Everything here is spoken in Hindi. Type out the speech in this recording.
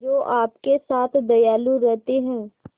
जो आपके साथ दयालु रहते हैं